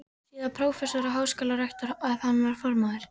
síðar prófessor og háskólarektor, en hann var þá formaður